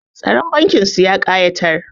Tsaron bankin su ya ƙa'itar